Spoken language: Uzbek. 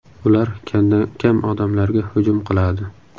Ular kamdan-kam odamlarga hujum qiladi.